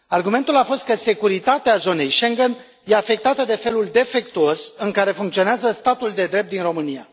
Argumentul a fost că securitatea zonei Schengen e afectată de felul defectuos în care funcționează statul de drept din România.